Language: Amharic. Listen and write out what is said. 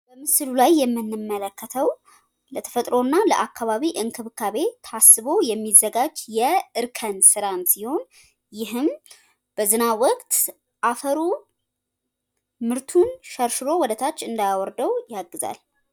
የተራራማ ቦታዎች የራሳቸው የሆነ ልዩ ታሪክና ባህል ሲኖራቸው የሜዳማ ቦታዎች ደግሞ ለግብርና ተስማሚ ናቸው።